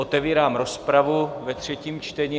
Otevírám rozpravu ve třetím čtení.